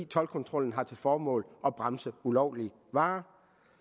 toldkontrollen har til formål at bremse ulovlige varer